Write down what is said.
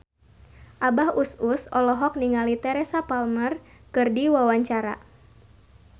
Abah Us Us olohok ningali Teresa Palmer keur diwawancara